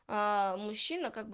мужчина как бы